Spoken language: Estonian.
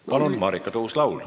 Palun, Marika Tuus-Laul!